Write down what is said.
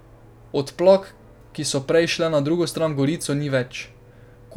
Odplak, ki so prej šle na drugo stran v Gorico, ni več.